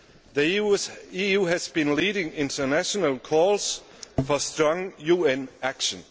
The EU has been leading international calls for strong UN action.